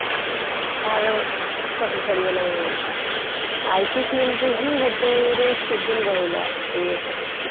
car ଚାକିରି ଛାଡିଗଲା ଇଏ ହେଇଗଲା IT field ରେ ହିଁ ଗୋଟେ ମାନେ stable ରହିଲା ଏତେ ଇଏ ପରେ